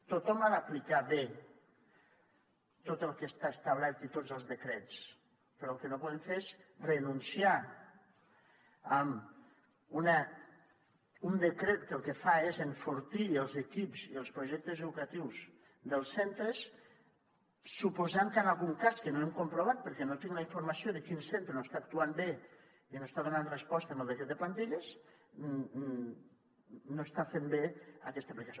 tothom ha d’aplicar bé tot el que està establert i tots els decrets però el que no podem fer és renunciar a un decret que el que fa és enfortir els equips i els projectes educatius dels centres suposant que en algun cas que no hem comprovat perquè no tinc la informació de quin centre no està actuant bé i no està donant resposta al decret de plantilles no s’està fent bé aquesta aplicació